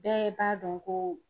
Bɛɛ b'a dɔn ko